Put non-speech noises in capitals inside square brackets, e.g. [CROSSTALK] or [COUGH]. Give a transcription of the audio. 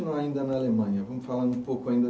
[UNINTELLIGIBLE] Ainda na Alemanha, vamos falar um pouco ainda